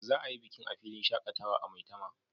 Za a yi bikin a filin shakatawa a maitama